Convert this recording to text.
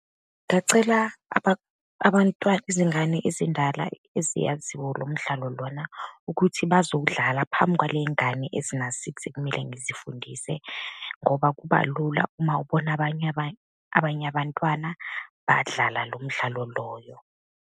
Ngacela abantwana, izingane ezindala eziyaziwo lo mdlalo lona ukuthi bazowudlala phambi kwaley'ngane ezina-six, ekumele ngizifundise, ngoba kuba lula uma ubona abanye abanye abantwana badlala lo mdlalo loyo.